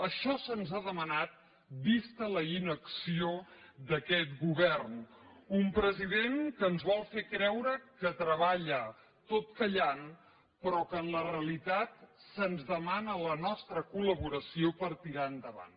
això se’ns ha demanat vista la inacció d’aquest govern d’un president que ens vol fer creure que treballa tot callant però que en la realitat se’ns demana la nostra col·laboració per tirar endavant